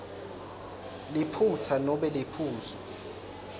liphutsa nobe liphuzu